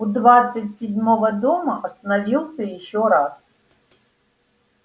у двадцать седьмого дома остановился ещё раз